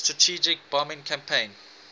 strategic bombing campaign